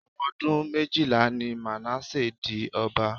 Omodun méjìlá ni Manasseh di ọba.